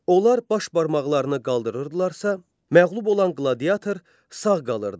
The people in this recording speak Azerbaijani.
Onlar baş barmaqlarını qaldırırdılarsa, məğlub olan qladiatör sağ qalırdı.